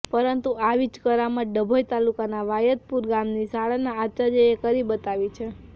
પરંતુ આવી જ કરામત ડભોઈ તાલુકાના વાયદપુર ગામની શાળાના આચાર્યએ કરી બતાવી છે